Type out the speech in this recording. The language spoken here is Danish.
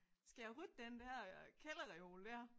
Skal jeg rydde den der øh kælderreol der